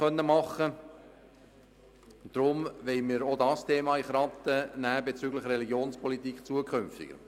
Deshalb wollen wir auch dieses Thema in den Korb der zukünftigen Religionspolitik nehmen.